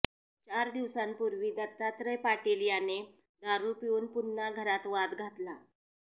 चार दिवसांपूर्वी दत्तात्रय पाटील याने दारू पिऊन पुन्हा घरात वाद घातला